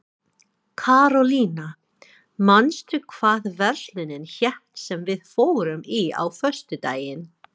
Karólína, manstu hvað verslunin hét sem við fórum í á föstudaginn?